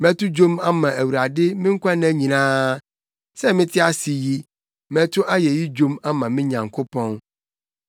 Mɛto dwom ama Awurade me nkwa nna nyinaa; sɛ mete ase yi, mɛto ayeyi dwom ama me Nyankopɔn.